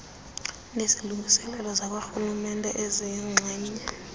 nezilungiselelo zakwarhulumente eziyingxenye